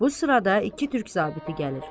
Bu sırada iki türk zabiti gəlir.